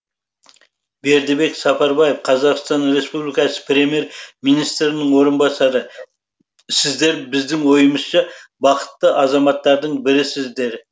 бердібек сапарбаев қазақстан республикасы премьер министрінің орынбасары сіздер біздің ойымызша бақытты азаматтардың бірісіздер